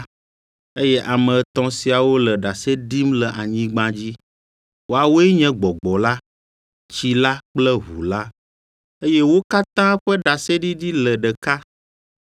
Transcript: Eye ame etɔ̃ siawo le ɖase ɖim le anyigba dzi, woawoe nye Gbɔgbɔ la, Tsi la kple Ʋu la, eye wo katã ƒe ɖaseɖiɖi le ɖeka.